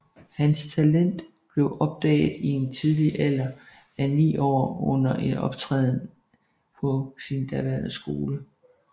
Hans talent blev opdaget i den tidlige alder af ni år under en optræden på sin daværende skole